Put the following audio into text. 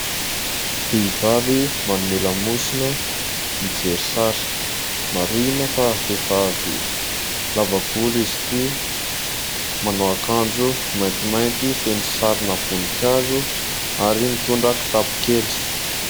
Vehivavy manome lamosina mijery sary. Marihina fa vehivavy lava volo izy ity, manao akanjo maintimainty feno sarina voninkazo ary mitondra kitapo kely.